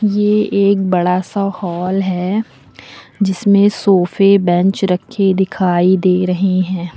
ये एक बड़ा सा हॉल है जिसमें सोफे बेंच रखे दिखाई दे रही हैं।